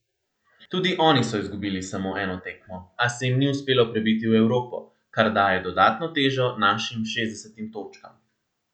Tudi oni so izgubili samo eno tekmo, a se jim ni uspelo prebiti v Evropo, kar daje dodatno težo našim šestdesetim točkam.